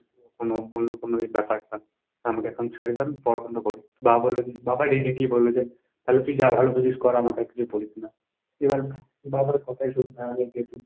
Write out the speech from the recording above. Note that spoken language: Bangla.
কোন অন্য কোন এই ব্যাপারটা। আমাকে এখন ছাড়িয়ে দাও আমি পড়া বন্ধ করি। বাবা বলল যে বাবা directly বলল যে, তাহলে তুই যা ভালো বুঝিস কর, আমাকে আর কিছু বলিস না। এবার বাবার কথাই শুনতে হবে যেহেতু,